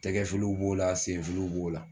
Tɛgɛ filiw b'o la senfiliw b'o la